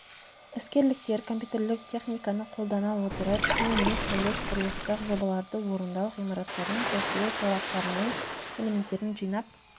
іскерліктер компьютерлік техниканы қолдана отырып қиын емес сәулет құрылыстық жобаларды орындау ғимараттардың қосылу тораптарының элементтерін жинап